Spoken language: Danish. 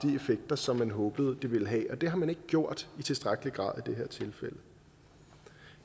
effekter som man håbede det ville have og det har man ikke gjort i tilstrækkelig grad i det her tilfælde